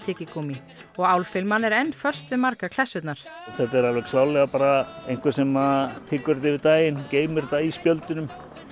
nikótíntyggigúmmí og álfilman er enn föst við margar klessurnar þetta er alveg klárlega bara einhver sem tyggur þetta yfir daginn geymir þetta í spjöldunum